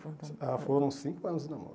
ah Foram cinco anos de namoro.